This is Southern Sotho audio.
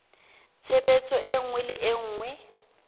tshebetso e nngwe le e